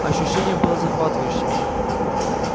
ощущение было захватывающим